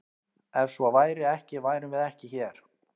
Ef svo væri ekki værum við ekki hér!